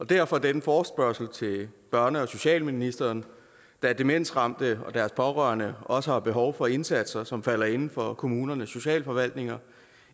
derfor denne forespørgsel til børne og socialministeren da demensramte og deres pårørende også har behov for indsatser som falder inden for kommunernes socialforvaltninger